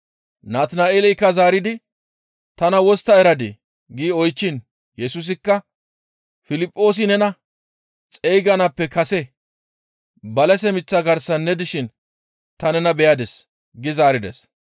Natina7eeleykka zaaridi, «Tana wostta eradii?» gi oychchiin Yesusikka, «Piliphoosi nena xeyganaappe kase balase miththa garsan ne dishin ta nena beyadis» gi zaarides.